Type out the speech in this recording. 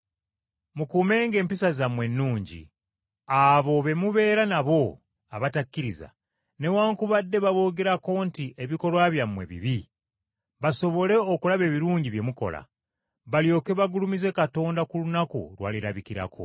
Mukuumenga empisa zammwe ennungi, abo be mubeera nabo abatakkiriza, newaakubadde baboogerako nti ebikolwa byammwe bibi, basobole okulaba ebirungi bye mukola, balyoke bagulumize Katonda ku lunaku lw’alirabikirako.